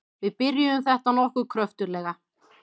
Við byrjuðum þetta nokkuð kröftuglega.